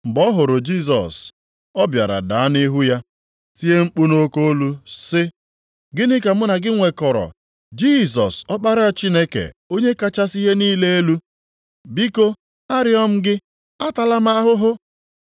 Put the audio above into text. Mgbe ọ hụrụ Jisọs, ọ bịara daa nʼihu ya, tie mkpu nʼoke olu sị, “Gịnị ka mụ na gị nwekọrọ Jisọs, Ọkpara Chineke Onye kachasị ihe niile elu? Biko arịọ m gị, atala m ahụhụ.”